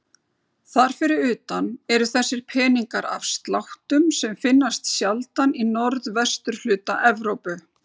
Þar fyrir utan eru þessir peningar af sláttum sem finnast sjaldan í norðvesturhluta Evrópu.